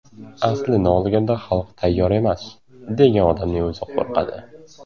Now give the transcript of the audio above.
Aslini olganda, xalq tayyor emas, degan odamning o‘zi qo‘rqadi.